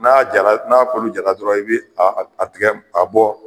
N'a jara n'a kolo jara dɔrɔn i bɛ a tigɛ a bɔ